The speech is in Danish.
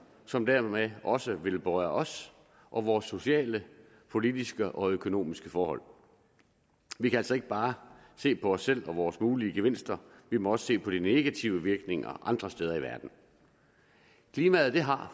som dermed også vil berøre os og vores sociale politiske og økonomiske forhold vi kan altså ikke bare se på os selv og vores mulige gevinster vi må også se på de negative virkninger andre steder i verden klimaet har